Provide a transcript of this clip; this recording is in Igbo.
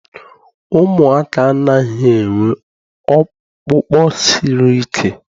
Ụmụaka anaghị enwe ọkpụkpụ siri ike.